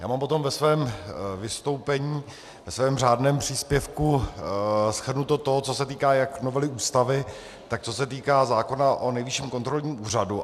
Já mám potom ve svém vystoupení, ve svém řádném příspěvku, shrnuto to, co se týká jak novely Ústavy, tak co se týká zákona o Nejvyšším kontrolním úřadu.